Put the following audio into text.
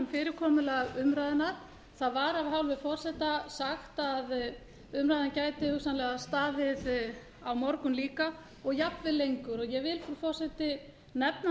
fyrirkomulag umræðunnar það var af hálfu forseta sagt að umræðan gæti hugsanlega staðið á morgun líka og jafnvel lengur ég vil frú forseti nefna